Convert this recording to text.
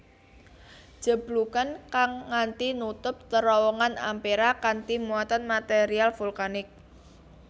Jeblugan kang nganthi nutup terowongan Ampera kanthi muatan material vulkanik